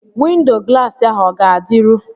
Windo glaasi ahụ o ga-adịru?